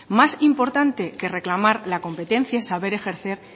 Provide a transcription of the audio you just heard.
más importante que reclamar la competencia es saber ejercer